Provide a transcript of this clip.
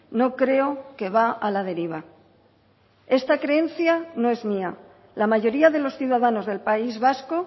no creo que va a la deriva esta creencia no es mía la mayoría de los ciudadanos del país vasco